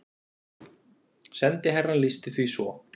Sendiherrann lýsti því svo